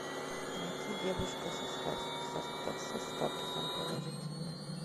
найти девушка со статусом положительная